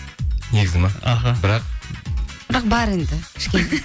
негізі ме аха бірақ бірақ бар енді